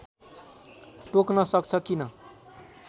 टोक्न सक्छ किन